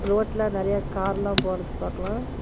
ரோட்ல நெறய கார்லா போறது பாக்கலா.